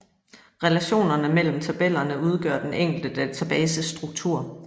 Relationerne mellem tabellerne udgør den enkelte databases struktur